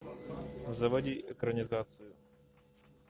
заводи экранизацию